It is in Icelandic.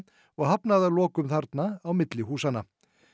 og hafnaði að lokum þarna á milli húsanna